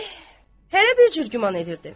Eh, hərə bir cür güman edirdi.